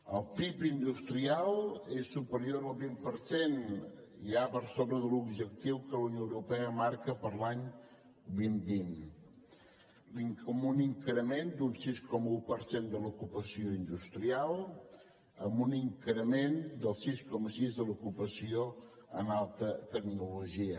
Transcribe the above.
el pib industrial és superior al vint per cent ja per sobre de l’objectiu que la unió europea marca per a l’any dos mil vint amb un increment d’un sis coma un per cent de l’ocupació industrial amb un increment del sis coma sis de l’ocupació en alta tecnologia